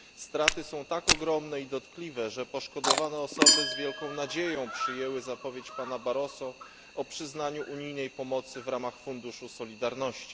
Straty są tak ogromne i dotkliwe, że poszkodowani z wielką nadzieją przyjęli zapowiedź pana Barroso o przyznaniu unijnej pomocy w ramach Funduszu Solidarności.